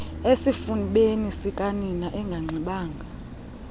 esifubeni sikanina enganxibanga